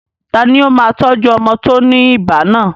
Tani ó máa tọ́jú ọmọ tó ní ibà náà?